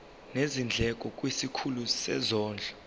nezindleko kwisikhulu sezondlo